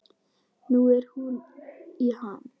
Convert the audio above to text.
Nú er hún í ham.